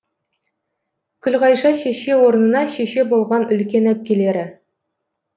күлғайша шеше орнына шеше болған үлкен әпкелері